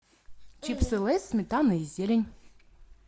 чипсы лейс сметана и зелень